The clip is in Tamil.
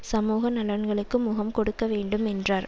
சமூக நலன்களுக்கு முகம் கொடுக்க வேண்டும் என்றார்